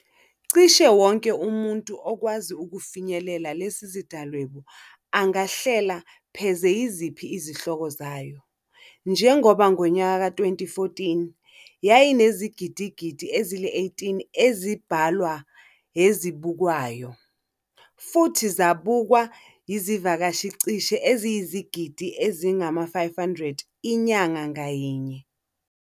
Cishe wonke umuntu okwazi ukufinyelela lesizindalwebu angahlela pheze yiziphi izihloko zayo. Njengoba ngonyaka wezi-2014 yayinezigidigidi ezili-18 zezibhalwa ezibukwayo, futhi zabukwa yizivakashi cishe eziyizigidi ezingama-500 inyanga ngayinye.